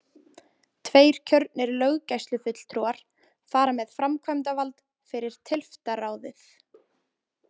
Tveir kjörnir löggæslufulltrúar fara með framkvæmdavald fyrir tylftarráðið.